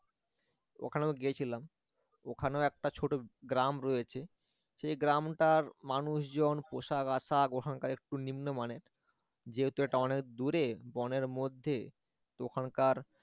ওখানেও গেছিলাম ওখানে একটা ছোট গ্রাম রয়েছে সেই গ্রামটার মানুষজন পোশাক আশাক ওখানকার একটু নিম্নমানের যেহেতু এটা অনেক দূরে বনের মধ্যে তো ওখানকার